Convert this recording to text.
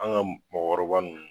An ka mɔgɔkɔrɔ ninnu